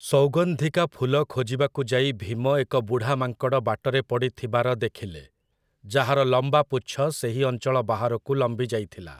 ସୌଗନ୍ଧିକା ଫୁଲ ଖୋଜିବାକୁ ଯାଇ ଭୀମ ଏକ ବୁଢ଼ା ମାଙ୍କଡ଼ ବାଟରେ ପଡ଼ିଥିବାର ଦେଖିଲେ, ଯାହାର ଲମ୍ବା ପୁଚ୍ଛ ସେହି ଅଞ୍ଚଳ ବାହାରକୁ ଲମ୍ବିଯାଇଥିଲା ।